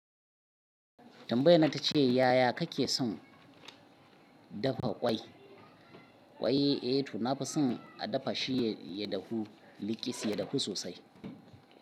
Tambayan nan tace ya ya kake son dafa ƙwai? Ƙwai eh to nafi son a dafa shi ya dahu, liƙis, ya dahu sosai.